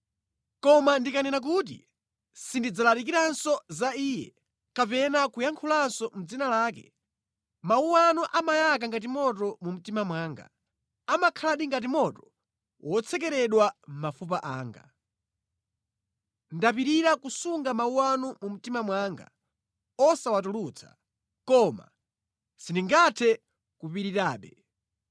Koma ndikanena kuti, “Sindidzalalikiranso za Iye kapena kuyankhulanso mʼdzina lake,” mawu anu amayaka ngati moto mu mtima mwanga, amakhaladi ngati moto wotsekeredwa mʼmafupa anga. Ndapirira kusunga mawu anu mu mtima mwanga osawatulutsa, koma sindingathe kupirirabe.